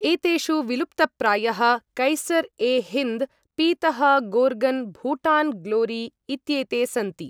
एतेषु, विलुप्तप्रायः कैसर् ए हिन्द्, पीतः गोर्गन्, भूटान् ग्लोरी इत्येते सन्ति।